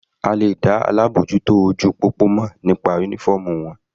A lè dá traffic warden mọ̀ nípa uniform wọn.